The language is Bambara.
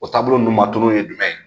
O taabolo nunnu ma tunu ye jumɛn ye?